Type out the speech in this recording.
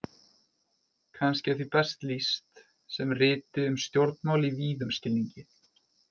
Kannski er því best lýst sem riti um stjórnmál í víðum skilningi.